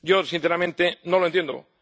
Yo, sinceramente, no lo entiendo.